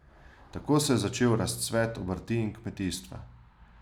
Tako se je začel razcvet obrti in kmetijstva.